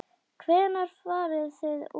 Hvenær farið þið út?